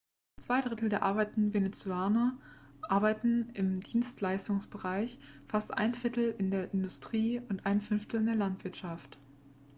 zwei drittel der arbeitenden venezolaner arbeiten im dienstleistungsbereich fast ein viertel in der industrie und ein fünftel in der landwirtschaft